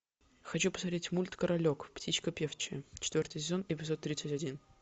хочу посмотреть мульт королек птичка певчая четвертый сезон эпизод тридцать один